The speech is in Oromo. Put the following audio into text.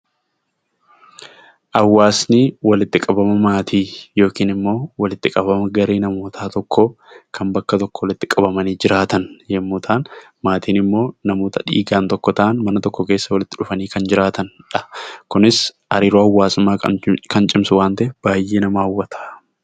Hawaasi walitti qabama maatii yookiin immoo walitti qabama namoota garee namoota tokkoo kan bakka tokko walitti qabamanii jiraatan yommuu ta'an, maatiin immoo namoota dhiigaan tokko ta'an mana tokko keessa walitti dhufanii kan jiraatanidha. Kunis hariiroo hawaasummaa kan cimsu waan ta'eef baay'ee nama hawwata.